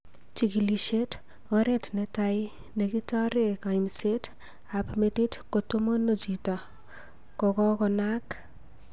Chigilishet:Oret netai nekitoree kaimset ap metit kotomono chito kokokonaak